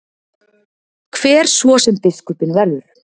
Hver svo sem biskupinn verður.